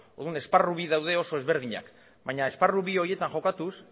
orduan esparru bi daude oso ezberdinak baina esparru bi horietan jokatuz